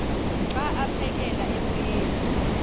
xa aphekela emoyeni